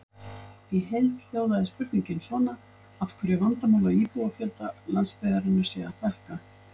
Í heild hljóðaði spurningin svona: Af hverju er vandamál að íbúafjölda landsbyggðarinnar sé að fækka?